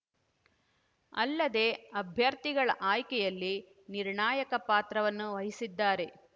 ಅಲ್ಲದೆ ಅಭ್ಯರ್ಥಿಗಳ ಆಯ್ಕೆಯಲ್ಲಿ ನಿರ್ಣಾಯಕ ಪಾತ್ರವನ್ನು ವಹಿಸಿದ್ದಾರೆ